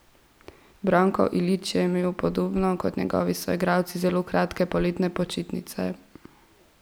Branko Ilić je imel podobno kot njegovi soigralci zelo kratke poletne počitnice.